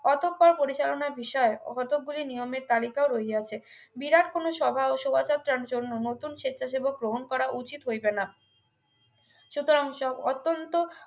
অতঃপর পরিচালনার বিষয়ে ও কতকগুলি নিয়মের তালিকা ও রইয়াছে বিরাট কোনো সভা ও শোভাযাত্রার জন্য নতুন স্বেচ্ছাসেবক গ্রহণ করা উচিত হইবে না সুতরাং সব অত্যন্ত